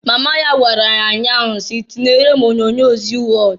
Mama ya gwara ya nnya ahụ si, "Tinyere m onyoonyo Zii Wọd!"